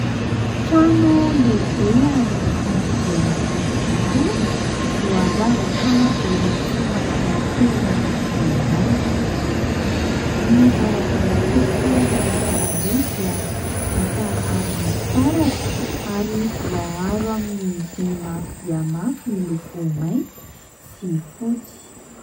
Trano lehibe ary kanto dia kanto tokoa. Voaravaka biriky somary kely miloko mainty. Ny varavarankely sy ny varavarambe dia vita amin'ny fitaratra ary voaaro amin'ny vy mafy dia mafy miloko mainty sy fotsy.